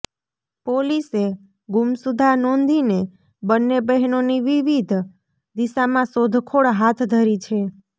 પોલીસે ગુમસુદા નોંધીને બન્ને બહેનોની વિવિધ દિશામાં શોધખોળ હાથ ઘરી છે